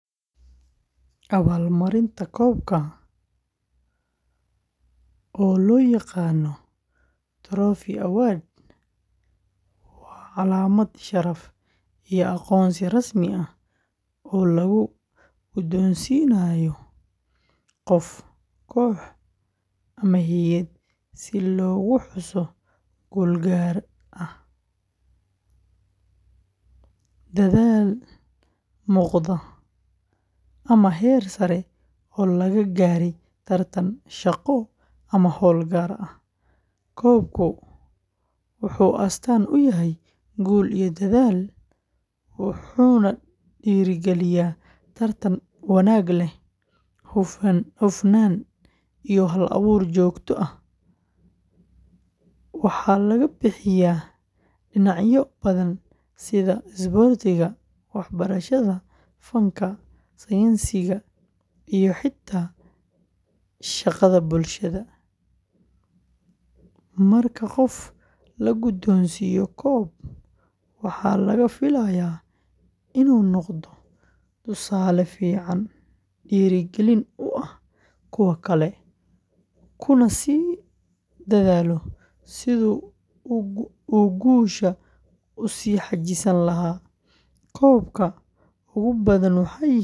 Abaalmarinta koobka, oo loo yaqaan Trophy Award, waa calaamad sharaf iyo aqoonsi rasmi ah oo la guddoonsiiyo qof, koox ama hay’ad si loogu xuso guul gaar ah, dadaal muuqda, ama heer sare oo laga gaaray tartan, shaqo, ama howl gaar ah. Koobku wuxuu astaan u yahay guul iyo dadaal, wuxuuna dhiirrigeliyaa tartan wanaag leh, hufnaan iyo hal-abuur joogto ah. Waxaa laga bixiyaa dhinacyo badan sida isboortiga, waxbarashada, fanka, sayniska iyo xitaa shaqada bulshada. Marka qof la guddoonsiiyo koob, waxaa laga filayaa inuu noqdo tusaale fiican, dhiirigelin u ah kuwa kale, kuna sii dadaalo sidii uu guushaas u sii xajisan lahaa. Koobabka ugu badan waxay yihiin kuwo bir ah.